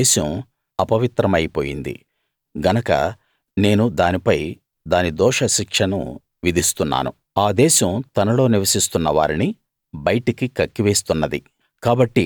ఆ దేశం అపవిత్రమై పోయింది గనక నేను దానిపై దాని దోష శిక్షను విధిస్తున్నాను ఆ దేశం తనలో నివసిస్తున్న వారిని బయటికి కక్కివేస్తున్నది